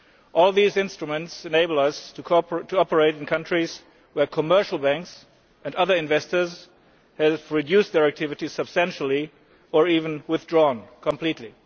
All these instruments enable us to operate in countries where commercial banks and other investors have reduced their activities substantially or have even withdrawn completely.